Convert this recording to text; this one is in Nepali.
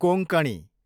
कोङ्कणी